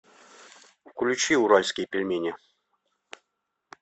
включи уральские пельмени